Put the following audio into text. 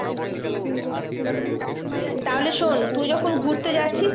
তাহলে শোন্ তুই যখন ঘুরতে যাচ্ছিস